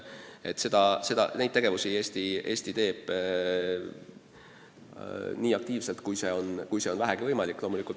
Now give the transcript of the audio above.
Eesti tegutseb selles valdkonnas nii aktiivselt, kui see vähegi võimalik on.